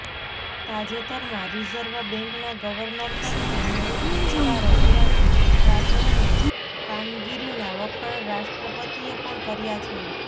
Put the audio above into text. તાજેતરમાં રિઝર્વ બૅન્કના ગવર્નર તરીકે નિવૃત્ત થયેલા રઘુરામ રાજનની કામગીરીનાં વખાણ રાષ્ટ્રપતિએ પણ કર્યા છે